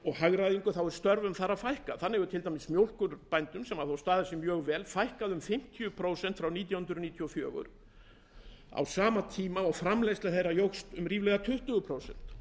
og hagræðingu fækkar þar störfum þannig hefur til dæmis mjólkurbændum sem staðið hafa sig vel fækkað um fimmtíu prósent frá árinu nítján hundruð níutíu og fjögur á sama tíma og framleiðsla þeirra jókst um ríflega tuttugu prósent